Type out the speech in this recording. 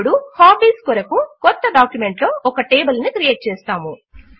ఇప్పుడు హాబీస్ కొరకు క్రొత్త డాక్యుమెంట్ లో ఒక టేబుల్ ను క్రియేట్ చేస్తాము